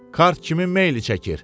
Kart kimin meyili çəkir?